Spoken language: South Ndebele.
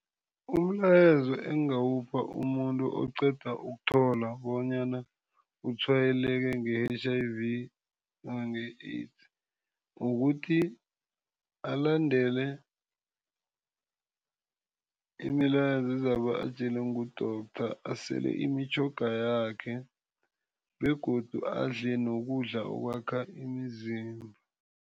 Umlayezo engingawupha umuntu oqeda ukuthola bonyana utshwayeleke nge-H_I_V nange-AIDS kukuthi alandele imilayezo ezabe ayitjelwe ngudorhodera. Asele imitjhoga yakhe begodu adle nokudla okwakha imizimba.